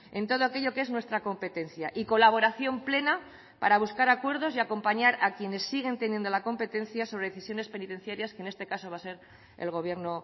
en todo aquello que es nuestra competencia y colaboración plena para buscar acuerdos y acompañar a quienes siguen teniendo la competencia sobre decisiones penitenciarias que en este caso va a ser el gobierno